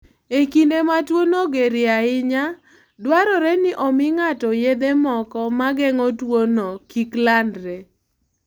E kinde ma tuwono gerie ahinya, dwarore ni omi ng'ato yedhe moko ma geng'o tuwono kik landre.